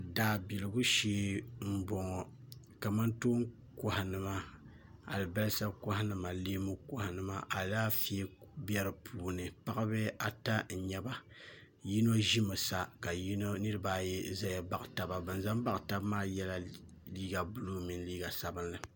Daabiligu shee m bɔŋɔ kamantoon kɔhinima alibalsa kɔhinima ni leen kɔhinima alaafee be di puuni paɣaba ata n nyɛba yino ʒimi sa ka niriba ayi za m baɣi taba ban za m baɣi taba maa yɛla liiga buluu mini liiga sabinli